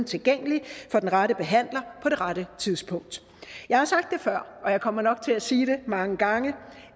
tilgængelig for den rette behandler på det rette tidspunkt jeg har sagt det før og jeg kommer nok til at sige det mange gange